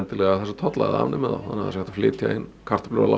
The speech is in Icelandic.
tolla eða afnemið þá svo það sé hægt að flytja inn kartöflur á